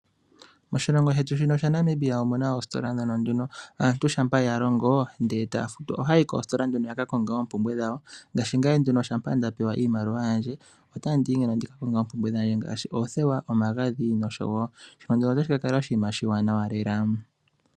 Moshilongo shetu shaNamibia omuna oositola mono aantu shampa yalongo etaya futwa ohayayi koositola yakakonge oopumbwe dhawo ngaashi ngaye shampa ndapewa iimaliwa yandje ota ndiyi ndikakonge oompumbwe dhandje ngaashi oothewa, omagadhi noshowo notashi kakala oshinima oshiwanawa lela.